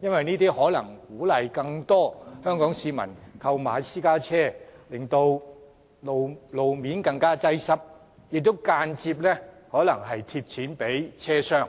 因為這可能鼓勵更多香港市民購買私家車，導致路面更加擁擠，亦間接資助了汽車商。